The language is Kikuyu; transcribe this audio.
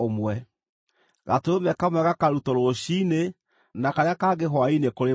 Gatũrũme kamwe gakarutwo rũciinĩ na karĩa kangĩ hwaĩ-inĩ kũrĩ mairia.